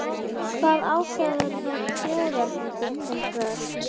Hvað ákvarðar þjóðerni þitt hins vegar?